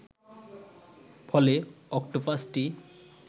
ফলে অক্টোপাসটি